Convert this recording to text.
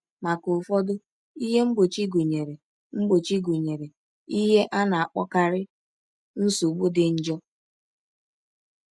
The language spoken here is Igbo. Maka ụfọdụ, ihe mgbochi gụnyere mgbochi gụnyere ihe a na-akpọkarị nsogbu dị njọ.